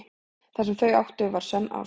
Það sem þau áttu var sönn ást.